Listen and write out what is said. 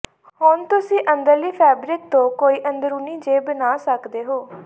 ਹੁਣ ਤੁਸੀਂ ਅੰਦਰਲੀ ਫੈਬਰਿਕ ਤੋਂ ਕਈ ਅੰਦਰੂਨੀ ਜੇਬ ਬਣਾ ਸਕਦੇ ਹੋ